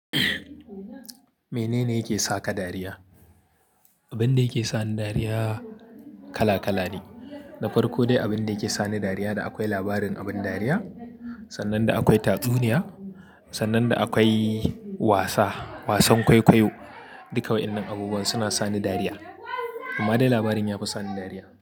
Menene yake saka dariya? Abin da yake sani dariya kala kala ne, da farko dai abin da yake sani dariya da akwai labarin abin dariya, sannan da akwai tatsuniya, sannan da akwai wasa, wasan kwaikwayo. Duka waɗannan abubuwa suna sani dariya. Amma dai labarin yafi sani dariya.